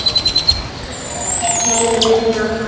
HINSTA KVEÐJA Kæri vinur okkar.